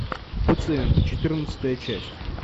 пациенты четырнадцатая часть